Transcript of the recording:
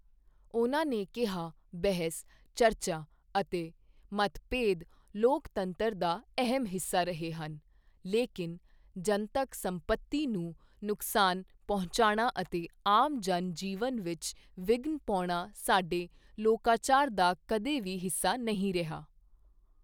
ਉਨ੍ਹਾਂ ਨੇ ਕਿਹਾ, ਬਹਿਸ, ਚਰਚਾ ਅਤੇ ਮੱਤਭੇਦ ਲੋਕਤੰਤਰ ਦਾ ਅਹਿਮ ਹਿੱਸਾ ਰਹੇ ਹਨ ਲੇਕਿਨ ਜਨਤਕ ਸੰਪਤੀ ਨੂੰ ਨੁਕਸਾਨ ਪੰਹੁਚਾਉਣਾ ਅਤੇ ਆਮ ਜਨ ਜੀਵਨ ਵਿੱਚ ਵਿਘਨ ਪਾਉਣਾ ਸਾਡੇ ਲੋਕਾਚਾਰ ਦਾ ਕਦੇ ਵੀ ਹਿੱਸਾ ਨਹੀਂ ਰਿਹਾ।